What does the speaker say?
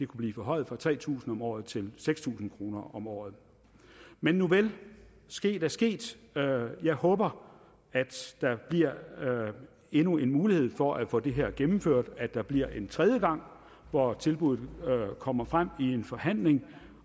blive forhøjet fra tre tusind kroner om året til seks tusind kroner om året men nuvel sket er sket jeg håber at der bliver endnu en mulighed for at få det her gennemført altså at der bliver en tredje gang hvor tilbuddet kommer frem i en forhandling